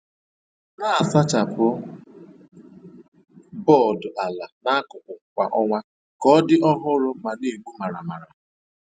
Na-asachapụ bọọdụ ala na akụkụ kwa ọnwa ka ọ dị ọhụrụ ma na-egbu maramara.